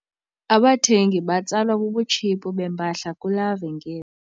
Abathengi batsalwa bubutshiphu bempahla kulaa venkile.